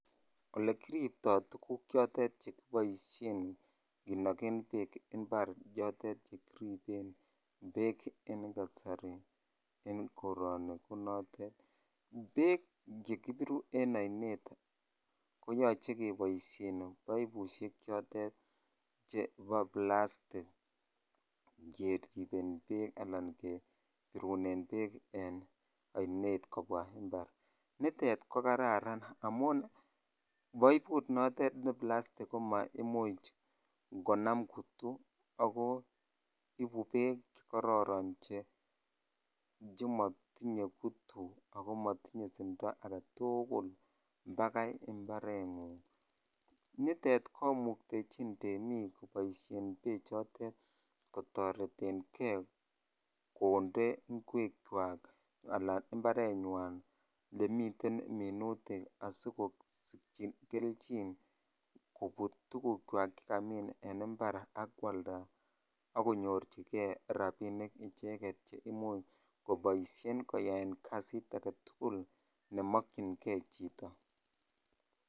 Olekiriptoi tuguk chotet chekiboisen chekinojen beek impar chotet chekiriben bek en kasari en koroni beek chekibiru en ainet koyoche keboisien boibishek chotet chebo plastic keriben beek alan birunen beek en oinet kobwa impar nitet ko kararan amun boibut notet ne plastik ko maomuch konam kutuu aki ibu beek che kororon nimotinye kutuu ako motinye simtoo aketukul bakai imparengung nitet komuktechin temik koboisei beekchutet kotoretenkei kotee ingwek chwak alan imparenyan ole miten minutik asikonyorchi kelchin kobut tukuk chwak chekamin en impar ak kwaldaa ak konyorchikei rabinik icheket che imuch koboisien koyaen kasiy aketukul nemokyinkri chito.